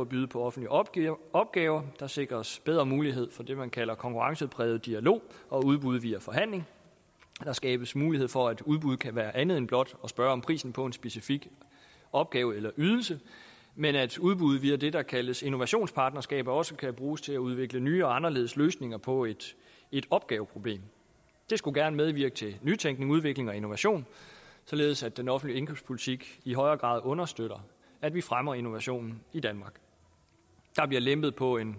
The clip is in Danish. at byde på offentlige opgaver opgaver der sikres bedre mulighed for det man kalder konkurrencepræget dialog og udbud via forhandling der skabes mulighed for at udbud kan være andet end blot at spørge om prisen på en specifik opgave eller ydelse men at udbuddet via det der kaldes innovationspartnerskaber også kan bruges til at udvikle nye og anderledes løsninger på et opgaveproblem det skulle gerne medvirke til nytænkning udvikling og innovation således at den offentlige indkøbspolitik i højere grad understøtter at vi fremmer innovationen i danmark der bliver lempet på en